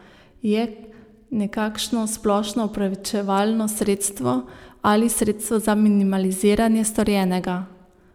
Je nekakšno splošno opravičevalno sredstvo ali sredstvo za minimiziranje storjenega.